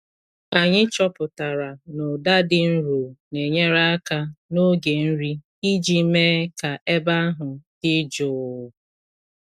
Anyị chọpụtara na ụda dị nro na-enyere aka n’oge nri iji mee ka ebe ahụ dị jụụ.